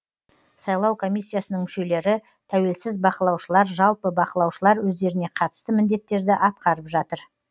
сайлау комиссиясының мүшелері тәуелсіз бақылаушылар жалпы бақылаушылар өздеріне қатысты міндеттерді атқарып жатыр